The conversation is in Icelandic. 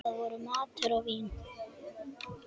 Það voru matur og vín.